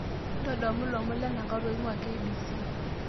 ntodolu ilomon lenakata oing'uaa k.b.c